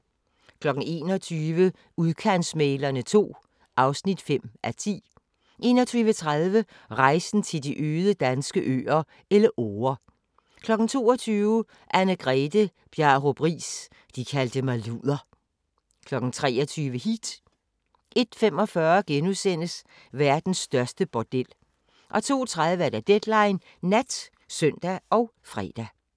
21:00: Udkantsmæglerne II (5:10) 21:30: Rejsen til de øde danske øer - Elleore 22:00: Anne-Grethe Bjarup Riis – de kaldte mig luder 23:00: Heat 01:45: Verdens største bordel * 02:30: Deadline Nat (søn og fre)